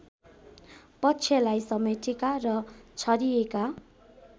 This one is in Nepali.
पक्षलाई समेटेका र छरिएका